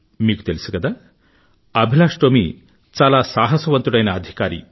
మీకు తెలుసు కదా అభిలాష్ టోమీ చాలా సాహసవంతుడైన అధికారి